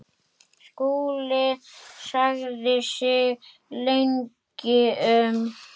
Skúli hugsaði sig lengi um.